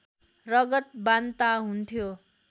रगत बान्ता हुन्थ्यो